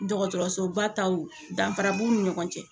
Dɔgɔtɔrɔsoba taw danfara b'u ni ɲɔgɔn cɛ